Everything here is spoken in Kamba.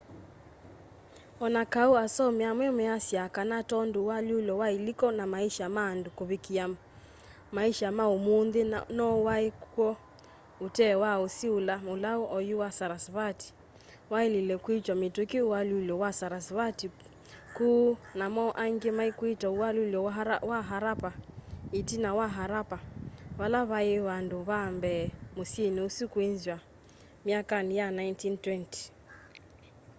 o na kau asomi amwe measyaa kana tondu ualyuulo wa iliko na maisha ma andu kuvikiia maisha ma umunthi no waii kw'o utee was usi ula mulau oyu wa sarasvati wailile kwitwa mituki ualyulo-wa-sarasvati kuu namo angi maikwita ualyulo wa harappa itina wa harappa vala vai vandu va mbee musyini usu kwinzwa myakani ya 1920